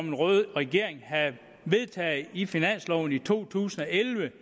en rød regering havde vedtaget i finansloven i to tusind og elleve